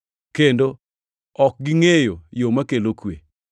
kendo ok gingʼeyo yo makelo kwe.” + 3:17 \+xt Isa 59:7,8\+xt*